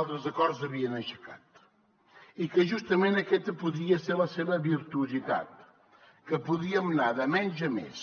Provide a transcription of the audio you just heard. altres acords havien aixecat i que justament aquesta podria ser la seva virtuositat que podíem anar de menys a més